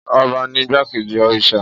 Ọba ni igbákejì òrìṣà.